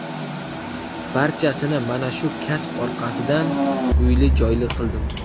Barchasini mana shu kasb orqasidan uyli-joyli qildim.